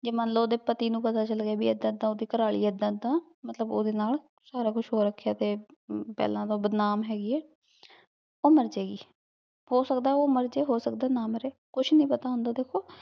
ਜੇ ਮਨ ਲੋ ਭੀ ਓਦੇ ਪਤੀ ਨੂ ਪਤਾ ਚਲ ਗਯਾ ਏਦਾਂ ਏਦਾਂ ਓਹਦੀ ਘਰ ਵਾਲੀ ਏਦਾਂ ਏਦਾਂ ਮਤਲਬ ਓਦੇ ਨਾਲ ਸਾਰਾ ਕੁਛ ਹੋ ਰਖ੍ਯਾ ਤੇ ਪੇਹ੍ਲਾਂ ਤੋਂ ਬਦਨਾਮ ਹੇਗੀ ਆਯ ਊ ਮਾਰ ਜੇ ਗੀ ਹੋ ਸਕਦਾ ਊ ਮਾਰ ਜੇ ਹੋ ਸਕਦਾ ਊ ਨਾ ਮਾਰੇ ਕੁਛ ਨਹੀ ਪਤਾ ਹੁੰਦਾ ਦੇਖੋ